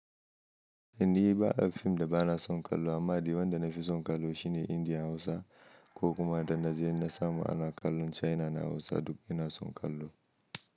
Indi ba a fim da ba na son kallo amma dai wanda na fi son kallo shine Indiya Hausa ko kuma da na je na samu ana kallon China na Hausa duk ina son kallo.